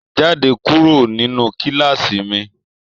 Jáde kúrò nínú kilaasi mí!